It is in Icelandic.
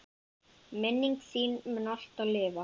Minning þín mun alltaf lifa.